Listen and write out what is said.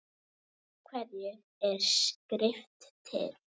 Af hverju er skrift til?